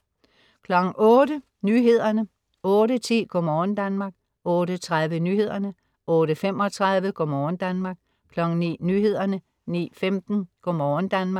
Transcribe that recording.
08.00 Nyhederne 08.10 Go' morgen Danmark 08.30 Nyhederne 08.35 Go' morgen Danmark 09.00 Nyhederne 09.15 Go' morgen Danmark